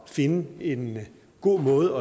finde en god måde